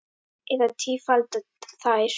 Eða tífalda þær.